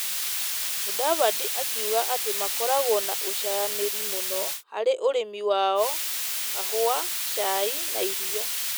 Mũdavadi akiuga atĩ makoragwo na ũcayanĩria mũno harĩ ũrĩmi wao, kahũa, cai na iria .